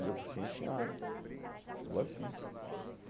Digo sim, senhora, vou sim.